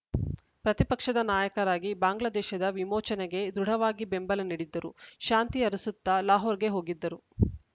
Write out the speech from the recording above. ಪ್ರತಿಪಕ್ಷದ ನಾಯಕರಾಗಿ ಬಾಂಗ್ಲಾದೇಶದ ವಿಮೋಚನೆಗೆ ದೃಢವಾಗಿ ಬೆಂಬಲ ನೀಡಿದ್ದರು ಶಾಂತಿ ಅರಸುತ್ತಾ ಲಾಹೋರ್‌ಗೆ ಹೋಗಿದ್ದರು